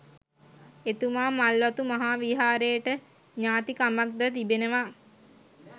එතුමා මල්වතු මහා විහාරයට ඥාතිකමක්ද තිබෙනවා